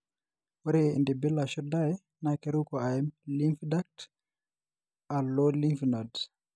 ore entibili ashu dye na keruko aim lymph duct alo lymph nodes.